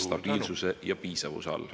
... stabiilsuse ja piisavuse all.